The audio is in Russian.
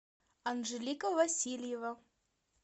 анжелика васильева